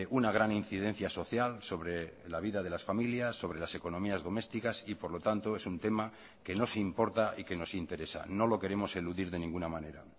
una gran incidencia social sobre la vida de las familias sobre las economías domesticas y por lo tanto es un tema que nos importa y que nos interesa no lo queremos eludir de ninguna manera